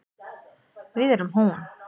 Við erum hún.